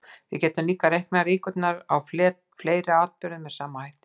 Við getum einnig reiknað líkurnar á fleiri atburðum með sama hætti.